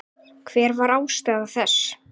Hver var ástæða þess?